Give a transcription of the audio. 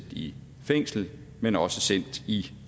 i fængsel men også sendt i